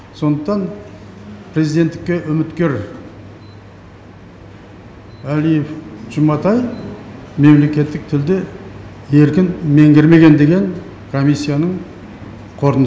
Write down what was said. сондықтан президенттікке үміткер әлиев жұматай мемлекеттік тілді еркін меңгермеген деген комиссияның қорытындысы шықты